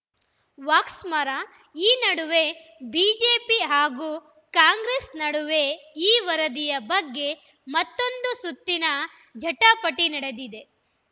ವಾಕ್ಸಮರ ಈ ನಡುವೆ ಬಿಜೆಪಿ ಹಾಗೂ ಕಾಂಗ್ರೆಸ್‌ ನಡುವೆ ಈ ವರದಿಯ ಬಗ್ಗೆ ಮತ್ತೊಂದು ಸುತ್ತಿನ ಜಟಾಪಟಿ ನಡೆದಿದೆ